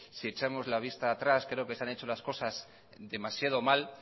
si echamos la vista atrás creo que se han hecho las cosas demasiado mal